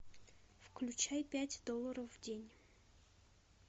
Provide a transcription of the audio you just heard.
включай пять долларов в день